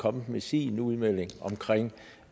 kommet med sin udmelding omkring